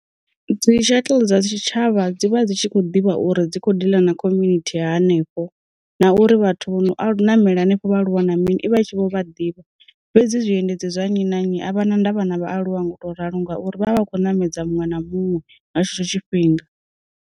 Dzi shuttle dza tshi tshavha dzi vha dzi tshi kho ḓivha uri dzi kho ḓila na khominithi hanefho, na uri vhathu vho no namela henefho vha aluwa na mini i vha i tshi vho vha ḓivha fhedzi zwiendedzi zwa nnyi na nnyi havha na nda vha na vhaaluwa ngo to ralo ngauri vha vha vha kho ṋamedza muṅwe na muṅwe nga tshetsho tshifhinga.